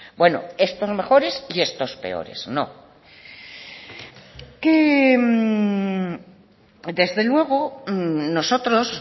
bueno estos mejores y estos peores no desde luego nosotros